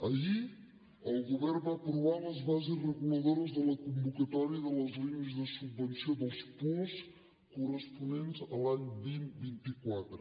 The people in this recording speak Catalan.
ahir el govern va aprovar les bases reguladores de la convocatòria de les línies de subvenció dels puosc corresponents a l’any vint vint quatre